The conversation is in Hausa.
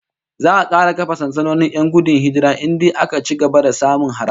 Za'a kara kafa sansanonin 'yan gudun hijira in dai aka ci gaba da samun hare-hare